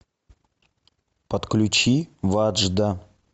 подключи ваджда